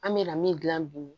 An bɛ na min dilan bi